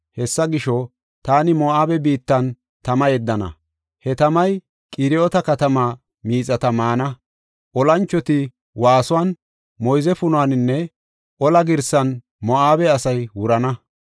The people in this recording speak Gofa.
Hessa gisho, taani Moo7abe biittan tama yeddana; he tamay Qiriyoota katamaa miixata maana. Olanchota waasuwan, moyze punuwaninne ola girsan Moo7abe asay wurana.